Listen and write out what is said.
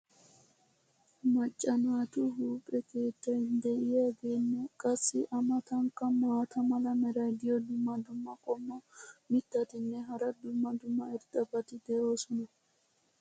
macca naatu huuphe keettay diyaageenne qassi a matankka maata mala meray diyo dumma dumma qommo mitattinne hara dumma dumma irxxabati de'oosona.